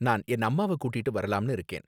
நான் என் அம்மாவ கூட்டிட்டு வரலாம்னு இருக்கேன்